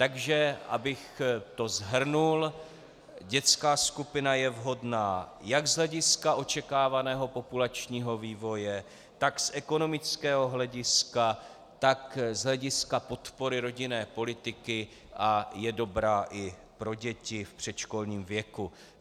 Takže abych to shrnul, dětská skupina je vhodná jak z hlediska očekávaného populačního vývoje, tak z ekonomického hlediska, tak z hlediska podpory rodinné politiky a je dobrá i pro děti v předškolním věku.